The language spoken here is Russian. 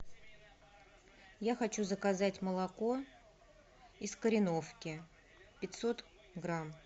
я хочу заказать молоко из кореновки пятьсот грамм